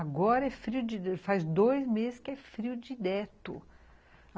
Agora é frio, faz dois meses que é frio de direto.